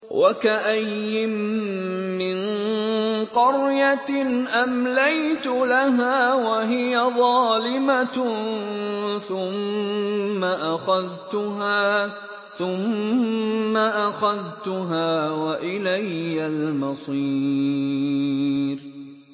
وَكَأَيِّن مِّن قَرْيَةٍ أَمْلَيْتُ لَهَا وَهِيَ ظَالِمَةٌ ثُمَّ أَخَذْتُهَا وَإِلَيَّ الْمَصِيرُ